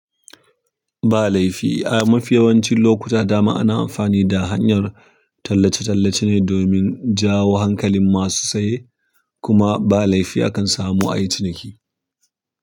Ba laifi ai mafiyawancin lokuta dama ana amfani da hanyar tallace-tallace ne domin jawo hankalin masu saye. Kuma ba laifi akan samu a yi ciniki.